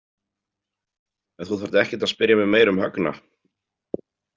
En þú þarft ekkert að spyrja mig meira um Högna.